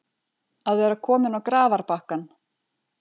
Að vera kominn á grafarbakkann